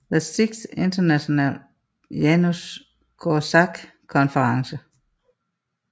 The Sixth International Janusz Korczak Conference